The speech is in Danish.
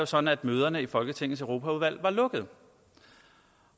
sådan at møderne i folketingets europaudvalg var lukkede